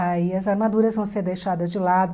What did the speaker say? Aí as armaduras vão ser deixadas de lado.